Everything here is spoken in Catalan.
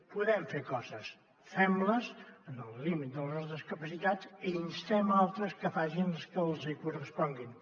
podem fer coses fem les en el límit de les nostres capacitats i instem ne d’altres que facin les que els hi corresponguin